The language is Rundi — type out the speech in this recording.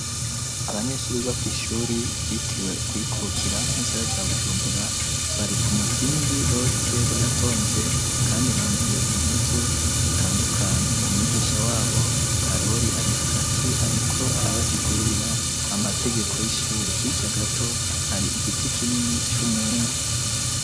Abanyeshure bo kw'ishure ryitiriwe ukwikukira mu gisagara ca bujumbura bari ku muzingi bose baratonze kandi bambaye impuzu zitandukanye umwigisha wabo karori ari hagati ariko arabasigurira amategeko y'ishure hirya gato hari igiti kinini c'umwembe